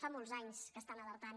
fa molts anys que estan alertant